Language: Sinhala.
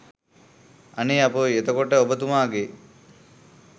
අනේ අපොයි එතකොට ඔබතුමාගේ